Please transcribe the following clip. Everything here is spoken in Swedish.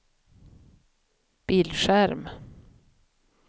bildskärm